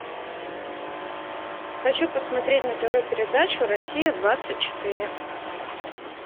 хочу посмотреть на тв передачу россия двадцать четыре